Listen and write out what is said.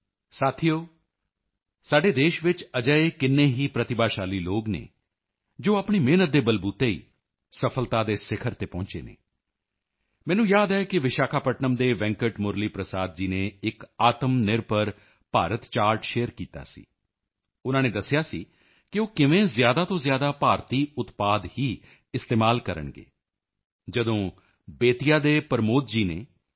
ਸਾਥੀਓ ਸਾਡੇ ਦੇਸ਼ ਵਿੱਚ ਅਜਿਹੇ ਕਿੰਨੇ ਹੀ ਪ੍ਰਤਿਭਾਸ਼ਾਲੀ ਲੋਕ ਹਨ ਜੋ ਆਪਣੀ ਮਿਹਨਤ ਦੇ ਬਲਬੂਤੇ ਹੀ ਸਫ਼ਲਤਾ ਦੇ ਸਿਖਰ ਤੇ ਪਹੁੰਚੇ ਹਨ ਮੈਨੂੰ ਯਾਦ ਹੈ ਕਿ ਵਿਸ਼ਾਖਾਪਟਨਮ ਦੇ ਵੈਂਕਟ ਮੁਰਲੀ ਪ੍ਰਸਾਦ ਜੀ ਨੇ ਇਕ ਆਤਮਨਿਰਭਰ ਭਾਰਤ ਚਾਰਟ ਸ਼ੇਅਰ ਕੀਤਾ ਸੀ ਉਨ੍ਹਾਂ ਨੇ ਦੱਸਿਆ ਸੀ ਕਿ ਉਹ ਕਿਵੇਂ ਜ਼ਿਆਦਾ ਤੋਂ ਜ਼ਿਆਦਾ ਭਾਰਤੀ ਉਤਪਾਦ ਹੀ ਇਸਤੇਮਾਲ ਕਰਨਗੇ ਜਦੋਂ ਬੇਤੀਆ ਦੇ ਪ੍ਰਮੋਦ ਜੀ ਨੇ ਐੱਲ